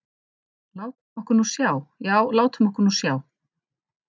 En látum okkur nú sjá, já, látum okkur nú sjá.